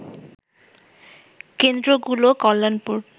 কেন্দ্র গুলো কল্যাণপুর